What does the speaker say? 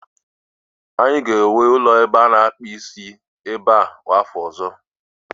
anyị ga-ewu ụlọ ebe a na akpụ isi ebe a n'afọ ọzọ